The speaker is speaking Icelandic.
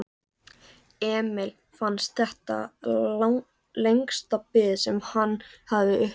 Emil fannst þetta lengsta bið sem hann hafði upplifað.